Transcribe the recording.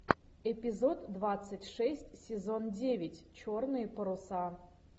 эпизод двадцать шесть сезон девять черные паруса